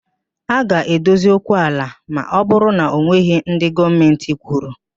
A ga-adozi okwu ala ma ọ bụrụ na enweghị ndị Gọọmentị kwụnyere